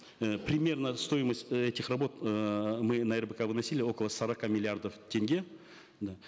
э примерная стоимость этих работ э мы на рбк выносили около сорока миллиардов тенге да